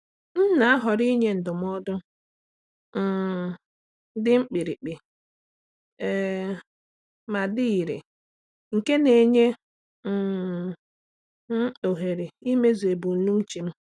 M na-ahọrọ inye ndụmọdụ um dị mkpirikpi um ma dị irè nke na-enye um m ohere imezu ebumnuche m.